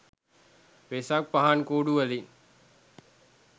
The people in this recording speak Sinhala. වෙසක් පහන් කූඩු වලින්